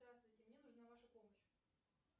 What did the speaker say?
здравствуйте мне нужна ваша помощь